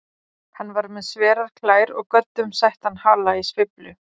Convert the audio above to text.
Hann var með sverar klær og göddum settan hala í sveiflu.